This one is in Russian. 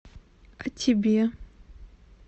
а тебе